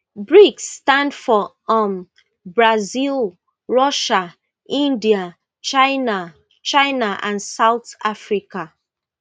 brics stand for um brazil russia india china china and south africa